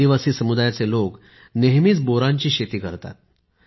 आदिवासी समुदायाचे लोक नेहमीच बोरांची शेती करतात